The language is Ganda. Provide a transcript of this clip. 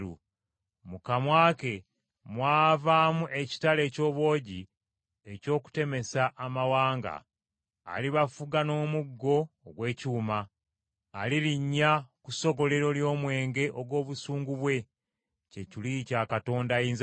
Mu kamwa ke mwavaamu ekitala eky’obwogi eky’okutemesa amawanga. “Alibafuga n’omuggo ogw’ekyuma.” Alirinnya ku ssogolero ly’omwenge ogw’obusungu bwe, kye kiruyi kya Katonda Ayinzabyonna.